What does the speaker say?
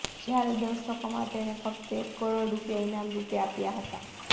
જ્યારે દર્શકોમાં તેણે ફક્ત એક કરોડ રૂપિયા ઈનામરૂપે આપ્યાં હતાં